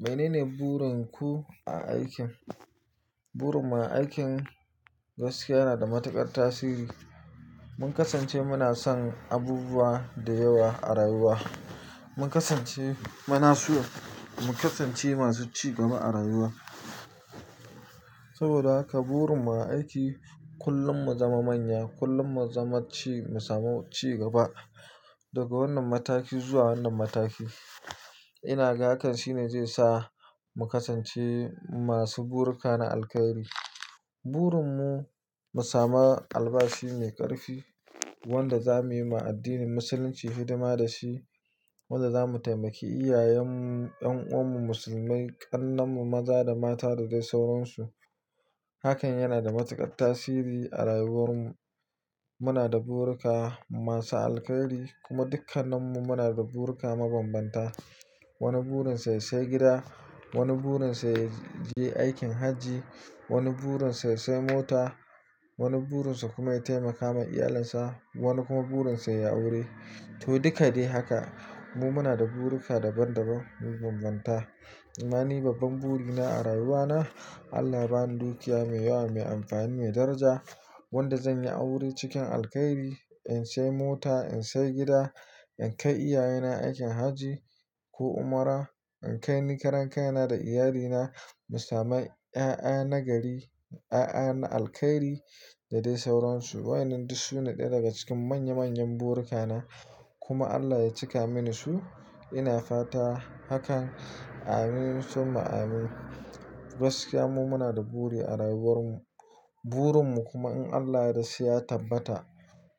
Menene burin ku a aikin? Burin mu a aikin gaskiya yana da matuƙar tasiri. Mun kasance muna son abubuwa da yawa a rayuwa. Mun kasance muna so mu kasance masu cigaba a rayuwa saboda haka burin mu a aiki kullum mu zama manya, kullum mu zama ci, mu samu ci gaba daga wannan mataki zuwa wannan mataki. Ina ga hakan shine zai sa mu kasance masu burika na alkairi. Burin mu, mu sami albashi mai ƙarfi wanda za mu yi ma addinin musulunci hidima da shi, wanda za mu taimaki iyayenmu, ƴan'uwanmu musulmai, ƙarnanmu maza da mata da dai sauransu. Akan yana da matukar tasiri a rayuwar mu. Muna da burika masu alkhairi kuma dukkanin mu muna da burika mabanbanta wani burin sa ya sayi gida, wani burin sa yaje aikin hajji, wani burin sa ya sayi mota, wani burinsa kuma ya tsaimaka wa iyalin sa, wani kuma burin sa yayi aure to, duka dai haka mu muna da burika daban-daban mabambanta. Amma ni babban burina a rayuwana, Allah ya bani dukiya mai yawa, mai amfani, mai daraja wanda zan yi aure cikin alkairi, in sai mota, in sai gida, in kai iyaye na aikin hajji ko umra, in kai ni ƙarankaina da iyalina, mu sami 'ya'ya na gari, 'ya'ya na alkairi da dai sauransu. Wayannan duk su ne ɗaya daga cikin manya manyan burikana kuma allah ya cika muni su ina fatan hakan. Amin summa amin. Gaskiya mu muna da buri a rayuwar mu. Burin mu kuma in Allah ya yadda sai ya tabbata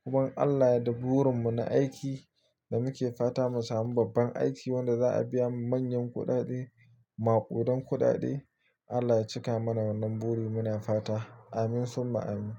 kuma Allah ya yadda burin mu na aiki da muke fata mu samu babban aiki wanda za a biya mu manyan kuɗaɗe, maƙudan kuɗaɗe. Allah ya cika mana wannan buri muna fata. Amin summa amin.